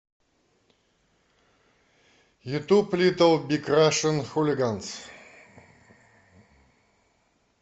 ютуб литл биг рашн хулиганс